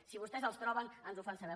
si vostès els troben ens ho fan saber